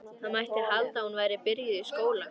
Það mætti halda að hún væri byrjuð í skóla.